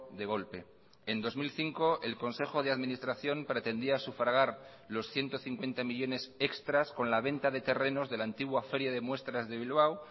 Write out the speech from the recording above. de golpe en dos mil cinco el consejo de administración pretendía sufragar los ciento cincuenta millónes extras con la venta de terrenos de la antigua feria de muestras de bilbao